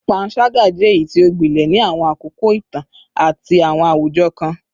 Panṣaga jẹ eyiti o gbilẹ ni awọn akoko itan ati awọn awujọ kan